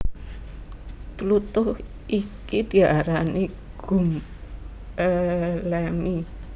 Tlutuh iki diarani gum elemi